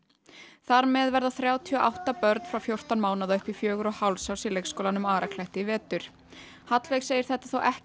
þar með verða þrjátíu og átta börn frá fjórtán mánaða upp í fjögurra og hálfs árs í leikskólanum í vetur Hallveig segir þetta þó ekki